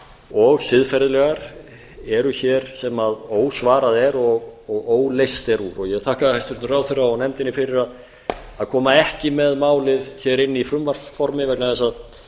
og siðferðilegar eru hér sem ósvarað er og óleyst er úr ég þakka hæstvirtum ráðherra og nefndinni fyrir að koma ekki með málið inn í frumvarpsformi vegna þess að